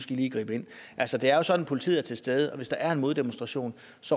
de lige gribe ind altså det er jo sådan at politiet er til stede og hvis der er en moddemonstration